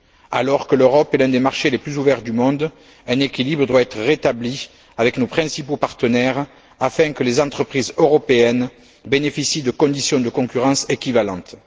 Alors que l'Europe est l'un des marchés les plus ouverts du monde, un équilibre doit être rétabli avec nos principaux partenaires, afin que les entreprises européennes bénéficient de conditions de concurrence équivalentes.